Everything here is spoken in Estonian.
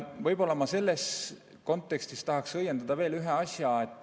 Võib-olla ma selles kontekstis tahaks ära õiendada veel ühe asja.